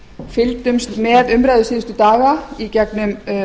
fylgdumst með umræðum síðustu daga í gegnum